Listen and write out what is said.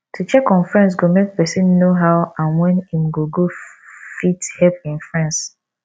to check on friends go make persin know how and when im go go fit help im friends